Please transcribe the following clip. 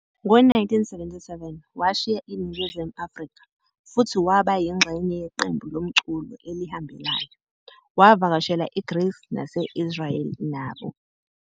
Ngo-1977, washiya iNingizimu Afrika futhi waba yingxenye yeqembu lomculo elihambelayo, wavakashela IGreece nase-Israel nabo.